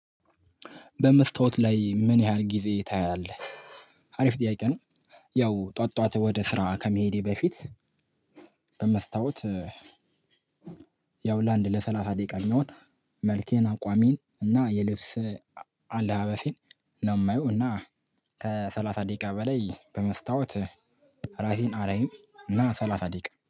በመስታወት ላይ ምን ያህል ጊዜ ታያለህ አሪፍ ጥያቄ ነው? ያው ጠዋት ጠዋት ወደ ስራ ከመሄዴ በፊት። በመስታወት ያው ላንድ ለሰላሳ ደቂቃ የሚሆን መልኬን አቋሜን እና የልብስ አለባበሴን ነው የማየው። እና ከሰላሳ ደቂቃ በላይ በመስታወት ራሴን አላይም እና ሰላሳ ደቂቃ